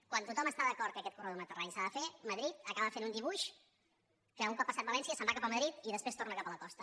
quan tothom està d’acord que aquest corredor mediterrani s’ha de fer madrid acaba fent un dibuix que un cop passat valència se’n va cap a madrid i després torna cap a la costa